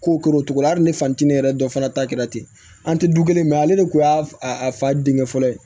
Ko k'o cogo la hali ni fantinin yɛrɛ dɔ fana ta kɛra ten an tɛ du kelen mɛ ale de kun y'a fa denkɛ fɔlɔ ye